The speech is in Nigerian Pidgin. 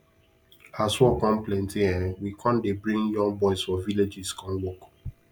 as work con plenty um we con dey bring young boys for villages come work